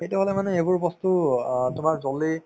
সেইটো হলে মানে এইবোৰ বস্তু অ তোমাৰ jaldi